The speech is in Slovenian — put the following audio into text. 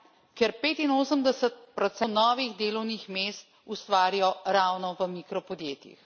Ker 85 novih delovnih mest ustvarijo ravno v mikropodjetjih.